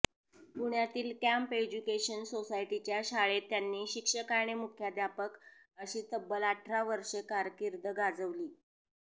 पुण्यातील camp education सोसायटीच्या शाळेत त्यांनी शिक्षक आणि मुख्याध्यापक अशी तब्बल अठरा वर्षे कारकीर्द गाजवली